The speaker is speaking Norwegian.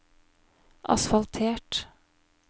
asfaltert